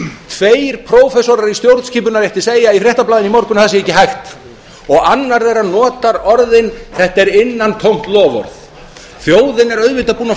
tveir prófessorar í stjórnskipunarrétti segja í fréttablaðinu í morgun að það sé ekki hægt annar þeirra notar orðin þetta er innantómt loforð þjóðin er auðvitað búin að